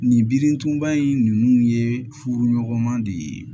Nin birintuba in nunnu ye furu ɲɔgɔnma de ye